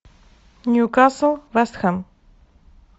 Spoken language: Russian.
ньюкасл вест хэм